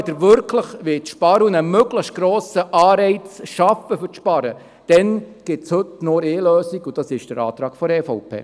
Wenn Sie wirklich sparen und einen möglichst grossen Anreiz zum Sparen schaffen wollen, dann gibt es heute nur eine Lösung, und das ist der Antrag der EVP.